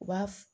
U b'a f